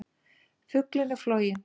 Fuglinn er floginn!